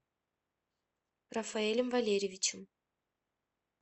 рафаэлем валерьевичем